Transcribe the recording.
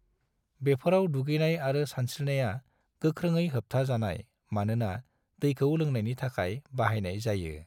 बेफोराव दुगैनाय आरो सानस्रिनाया गोख्रोङै होबथा जानाय मानोना दैखौ लोंनायनि थाखाय बाहायनाय जायो।